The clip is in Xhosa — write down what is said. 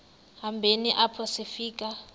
hambeni apho sifika